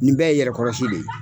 Nin bɛɛ yɛrɛ kɔrɔsi de ye.